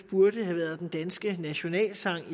burde have været den danske nationalsang